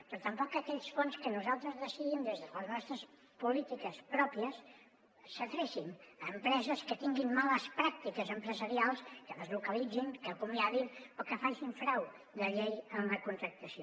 però que tampoc aquells fons que nosaltres decidim des de les nostres polítiques pròpies s’adrecin a empreses que tinguin males pràctiques empresarials que deslocalitzin que acomia din o que facin frau de llei en la contractació